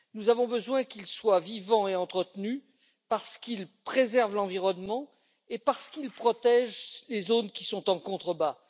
Nous avons besoin qu'ils soient vivants et entretenus parce qu'ils préservent l'environnement et parce qu'ils protègent les zones qui sont en contrebas.